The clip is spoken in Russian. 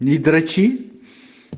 не дрочи